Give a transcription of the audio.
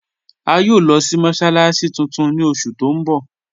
A yòò lọ sí mọ́sálàssí tuntun ni oṣù tó n bọ̀.